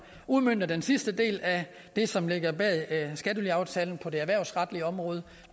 udmønter den sidste del af det som ligger bag skattelyaftalen på det erhvervsretlige område